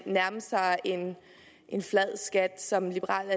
nærme sig en flad skat som liberal